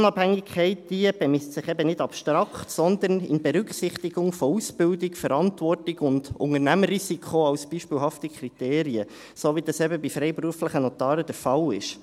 Die Unabhängigkeit bemisst sich eben nicht abstrakt, sondern in Berücksichtigung von Ausbildung, Verantwortung und Unternehmerrisiko als beispielhafte Kriterien, so wie dies eben bei freiberuflichen Notaren der Fall ist.